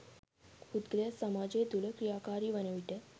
පුද්ගලයා සමාජය තුළ ක්‍රියාකාරී වනවිට